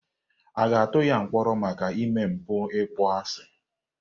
A ga-atụ ya mkpọrọ maka ime mpụ ịkpọasị?